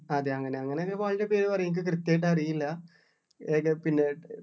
അതെ അങ്ങനെ അങ്ങനെ തന്നെ ഇപ്പൊ അതിൻ്റെ പേര് പറയും എനിക്ക് കൃത്യായിട്ട് അറിയില്ലാ ഏക പിന്നെ